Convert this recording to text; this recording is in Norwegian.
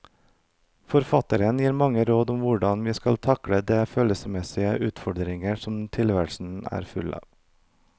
Forfatteren gir mange råd om hvordan vi skal takle de følelsesmessige utfordringer som tilværelsen er full av.